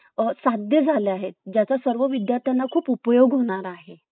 दिसतंय ना तेच problem नाही घ्यायला पाहिजे ना म्हणून